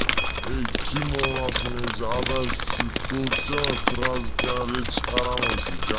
тимон чувствую все сразу говори